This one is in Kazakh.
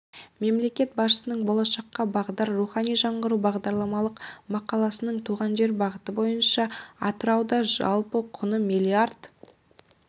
мемлекет басшысының болашаққа бағдар рухани жаңғыру бағдарламалық мақаласының туған жер бағыты бойынша атырауда жалпы құны миллиард